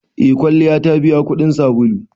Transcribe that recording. Eh kwalliya ta biya kudin sabulu.